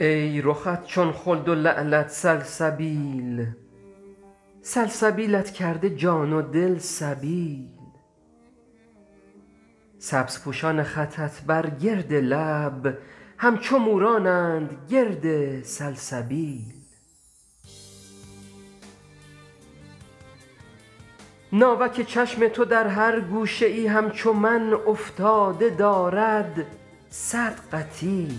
ای رخت چون خلد و لعلت سلسبیل سلسبیلت کرده جان و دل سبیل سبزپوشان خطت بر گرد لب همچو مورانند گرد سلسبیل ناوک چشم تو در هر گوشه ای همچو من افتاده دارد صد قتیل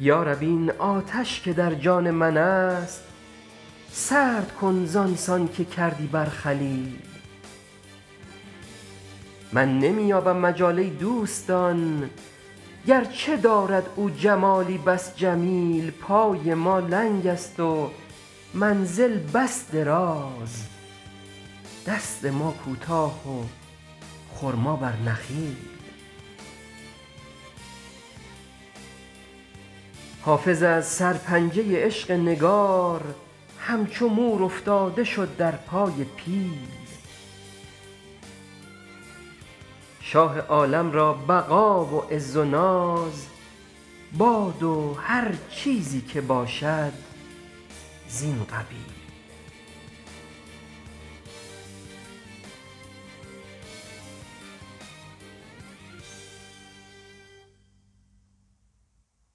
یا رب این آتش که در جان من است سرد کن زان سان که کردی بر خلیل من نمی یابم مجال ای دوستان گرچه دارد او جمالی بس جمیل پای ما لنگ است و منزل بس دراز دست ما کوتاه و خرما بر نخیل حافظ از سرپنجه عشق نگار همچو مور افتاده شد در پای پیل شاه عالم را بقا و عز و ناز باد و هر چیزی که باشد زین قبیل